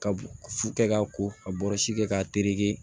Ka fu kɛ k'a ko ka bɔrɔsi kɛ k'a tereke